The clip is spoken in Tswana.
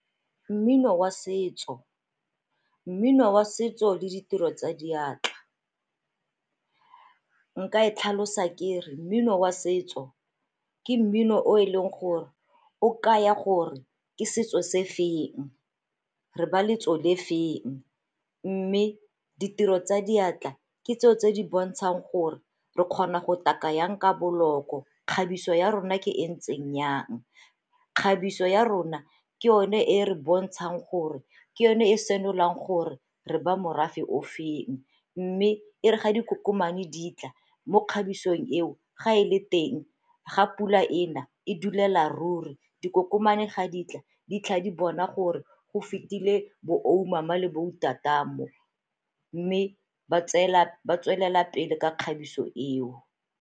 Mmino wa setso, mmino wa setso le ditiro tsa diatla. Nka e tlhalosa ke re mmino wa setso ke mmino o e leng gore o kaya gore ke setso se feng, re ba le lotso le feng, mme ditiro tsa diatla ke tseo tse di bontshang gore re kgona go taka yang ka boloko, kgabiso ya rona ke e ntseng jang. Kgabiso ya rona ke yone e re bontshang gore, ke yone e senolang gore re ba morafe o feng, mme e re ga dikokomane di tla mo kgabisong eo ga e le teng ga pula ena e duelela ruri. Dikokomane ga di tla di tlhaga di bona gore go fetile bo le bo mo, mme ba tswelela pele ka kgabiso eo.